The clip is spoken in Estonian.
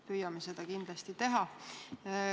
Püüame seda kindlasti teha.